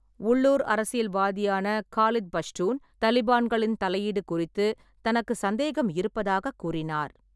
உள்ளூர் அரசியல்வாதியான காலித் பஷ்டூன் தலிபான்களின் தலையீடு குறித்து தனக்கு சந்தேகம் இருப்பதாக கூறினார்.